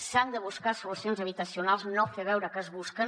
s’han de buscar solucions habitacionals no fer veure que es busquen